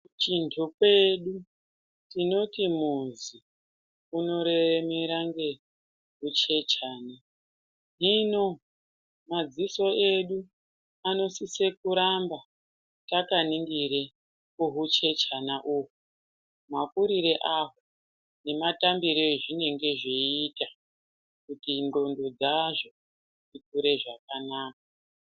Chonjokwedu tinoti muzi unoremera ngeuchechana hino madziso edu anosise kuramba takaningire kuhuchechana uhu makurire aho nematambire ezvinonge zveiita kuti ngqondo dzazvo dzikure zvakanaka.